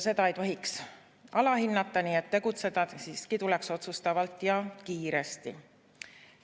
Seda ei tohiks alahinnata, nii et tegutseda siiski tuleks otsustavalt ja kiiresti.